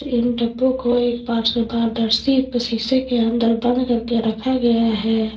तीन डब्बों को एक पारदर्शी शीशे के अंदर बंद करके रखा गया है।